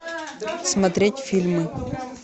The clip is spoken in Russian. смотреть фильмы